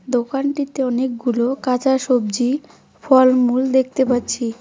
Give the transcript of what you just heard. দোকানটিতে অনেকগুলো কাঁচা সবজি ফলমূল দেখতে পাচ্ছি।